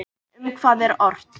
En um hvað er ort?